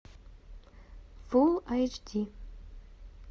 фул айч ди